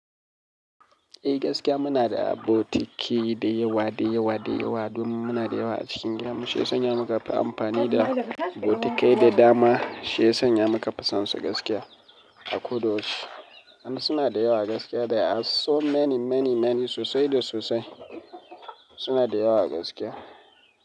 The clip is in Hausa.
Eh gaskiya muna da botiki da yawa, da yawa, da yawa domin muna da yawa a cikin gidan mu, shi ya sanya mu ka fi amfani da botikai da dama, shi ya sanya mu ka fi son su gaskiya, a ko da yaushe. In suna da yawa gaskiya, they are so many, many, many, sosai da sosai suna da yawa gaskiya.